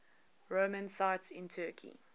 roman sites in turkey